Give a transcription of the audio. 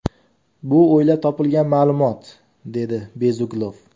Bu o‘ylab topilgan ma’lumot”, – dedi Bezuglov.